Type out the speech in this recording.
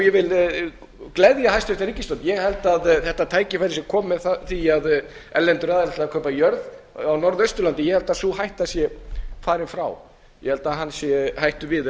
hræðst ég vildi gleðja hæstvirt ríkisstjórn ég held að þetta tækifæri sé komið af því að erlendir aðilar til að kaupa jörð á norðausturlandi ég held að sú hætta sé farin frá ég held að hann sé hættur við